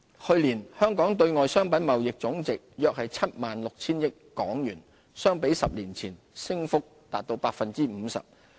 去年香港對外商品貿易總值約 76,000 億港元，相比10年前，升幅達 50%。